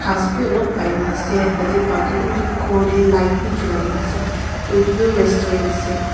bhi olop paina ase tatey pa tuh utu ghor dae light bhi julai na ase toh etu tuh restaurant ase.